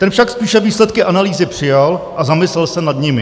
Ten však spíše výsledky analýzy přijal a zamyslel se nad nimi.